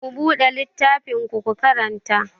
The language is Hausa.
Ku buɗe littafinku, ku karanta!